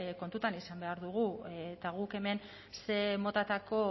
kontuan izan behar dugu eta guk hemen zer motatako